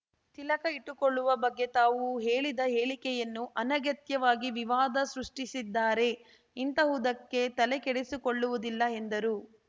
ತಿಲಕ ಇಟ್ಟುಕೊಳ್ಳುವ ಬಗ್ಗೆ ತಾವು ಹೇಳಿದ ಹೇಳಿಕೆಯನ್ನು ಅನಗತ್ಯವಾಗಿ ವಿವಾದ ಸೃಷ್ಟಿಸಿದ್ದಾರೆ ಇಂತಹುದಕ್ಕೆ ತಲೆಕೆಡಿಸಿಕೊಳ್ಳವುದಿಲ್ಲ ಎಂದರು